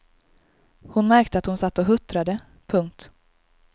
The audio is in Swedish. Hon märkte att hon satt och huttrade. punkt